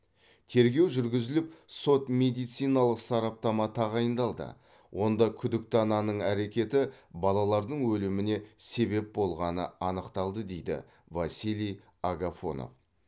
тергеу жүргізіліп сот медициналық сараптама тағайындалды онда күдікті ананың әрекеті балалардың өліміне себеп болғаны анықталды дейді василий агафонов